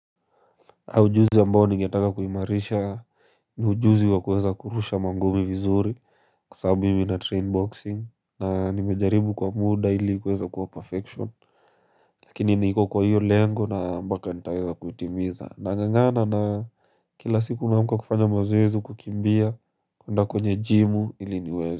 Ujuzi ambao ningetaka kuimarisha ni ujuzi wa kuweza kurusha mangumi vizuri kwasababu mimi na train boxing na nimejaribu kwa muda ili kueza kuwa perfection lakini niko kwa hiyo lengo na mpaka nitaeza kuitimiza nangangana na kila siku naamka kufanya mazoezi kukimbia kuenda kwenye gym ili niweze.